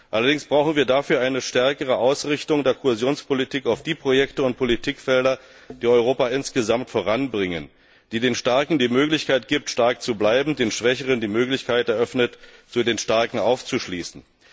Allerdings brauchen wir dafür eine stärkere Ausrichtung der Kohäsionspolitik auf die Projekte und Politikfelder, die Europa insgesamt voranbringen, die den Starken die Möglichkeit gibt, stark zu bleiben, den Schwächeren die Möglichkeit eröffnet, zu den Starken aufzuschließen.